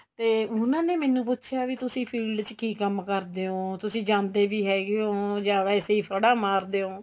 ਤੇ ਉਹਨਾ ਨੇ ਮੈਨੂੰ ਪੁੱਛਿਆ ਵੀ ਤੁਸੀਂ field ਚ ਕੀ ਕੰਮ ਕਰਦੇ ਓ ਤੁਸੀਂ ਜਾਂਦੇ ਵੀ ਹੈਗੇ ਓ ਜਾਂ ਵੈਸੇ ਫੜਾ ਮਾਰਦੇ ਓ